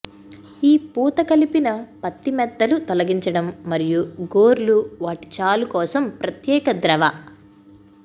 ఈ పూత కలిపిన పత్తి మెత్తలు తొలగించడం మరియు గోర్లు వాటిని చాలు కోసం ప్రత్యేక ద్రవ